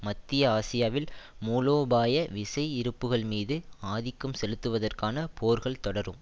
மத்திய ஆசியாவில் மூலோபாய விசை இருப்புக்கள்மீது ஆதிக்கம் செலுத்துவதற்கான போர்கள் தொடரும்